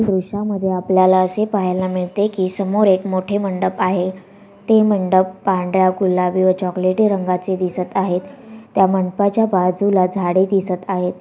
दृष्यांमधे आपल्याला असे पाहायला मिळते की समोर एक मोठि मंडप आहे ते मंडप गुलाबी व चॉकलेटी रंगांचे दिसत आहे त्या मंडपा च्या बाजूला झाडे दिसत आहे.